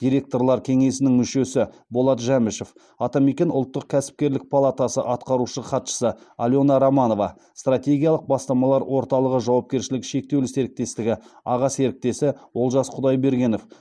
директорлар кеңесінің мүшесі болат жәмішев атамекен ұлттық кәсіпкерлік палатасы атқарушы хатшысы алена романова стратегиялық бастамалар орталығы жауапкершілігі шектеулі серіктестігі аға серіктесі олжас құдайбергенов